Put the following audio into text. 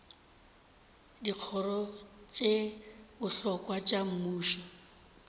dikgoro tše bohlokwa tša mmušo